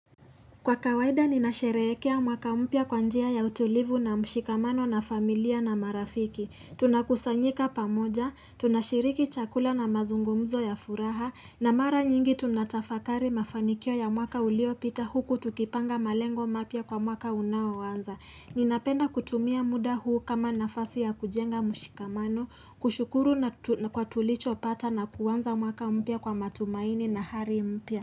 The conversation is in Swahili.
Kwa kawaida ninasherekea mwaka mpya kwa njia ya utulivu na mshikamano na familia na marafiki. Tunakusanyika pamoja, tunashiriki chakula na mazungumzo ya furaha, na mara nyingi tunatafakari mafanikio ya mwaka uliopita huku tukipanga malengo mapya kwa mwaka unaoanza. Ninapenda kutumia muda huu kama nafasi ya kujenga mshikamano kushukuru na kwa tulichopata na kuanza mwaka mpya kwa matumaini na hali mpya.